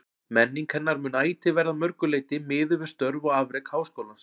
Menning hennar mun ætíð verða að mörgu leyti miðuð við störf og afrek Háskólans.